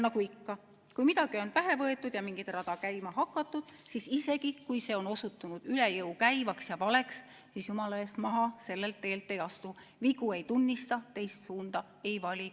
Nagu ikka, kui midagi on pähe võetud ja mingit rada käima hakatud, siis isegi kui see on osutunud üle jõu käivaks ja valeks, jumala eest, maha sellelt teelt ei astu, vigu ei tunnista, teist suunda ei vali.